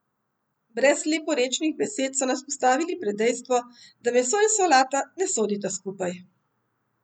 Brez leporečnih besed so nas postavili pred dejstvo, da meso in solata ne sodita skupaj.